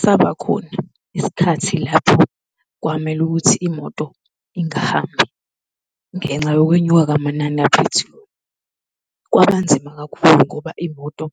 Sabakhona isikhathi lapho kwamele ukuthi imoto ingahambi ngenxa yokwenyuka kwamanani aphethiloli. Kwabanzima kakhulu ngoba imoto